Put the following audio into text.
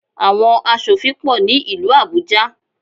Àwọn asòfin pọ̀ ní ìlú Àbújá.